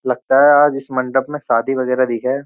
लगता है आज इस मंडप में शादी वगैरह दिखा है।